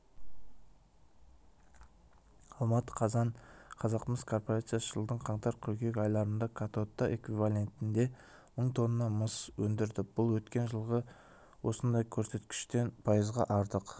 алматы қазан қазақмыс корпорациясы жылдың қаңтар-қыркүйек айларында катодты эквивалентінде мың тонна мыс өндірді бұл өткен жылғы осындай көрсеткіштен пайызға артық